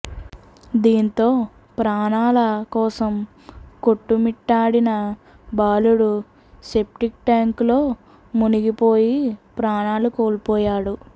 దీంతో ప్రాణాల కోసం కొట్టుమిట్టాడిన బాలుడు సెప్టిక్ ట్యాంకులో మునిగిపోయి ప్రాణాలు కోల్పోయాడు